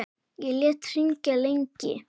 Ég lét hringja lengi.